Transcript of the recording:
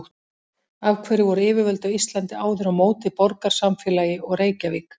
Af hverju voru yfirvöld á Íslandi áður á móti borgarsamfélagi og Reykjavík?